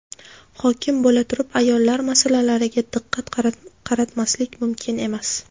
Hokim bo‘laturib ayollar masalalariga diqqat qaratmaslik mumkin emas.